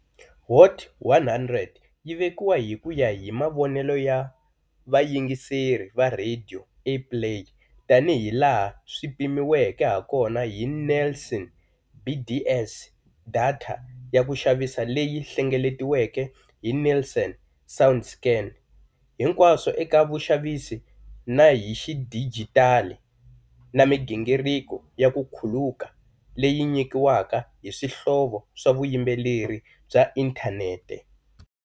Hot 100 yi vekiwa hi ku ya hi mavonelo ya vayingiseri va radio airplay tanihilaha swi pimiweke hakona hi Nielsen BDS, datha ya ku xavisa leyi hlengeletiweke hi Nielsen Soundscan, hinkwaswo eka vuxavisi na hi xidijitali, na migingiriko ya ku khuluka leyi nyikiwaka hi swihlovo swa vuyimbeleri bya inthanete.